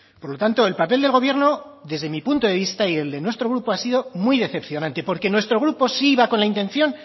por lo tanto el papel del gobierno desde mi punto de vista y desde nuestro grupo ha sido muy decepcionante porque nuestro grupo sí iba con la intención